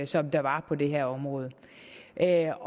som der var på det her område jeg